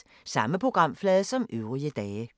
Samme programflade som øvrige dage